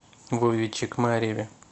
вове чекмареве